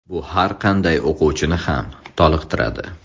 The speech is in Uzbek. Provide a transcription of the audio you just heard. Bu har qanday o‘quvchini ham toliqtiradi.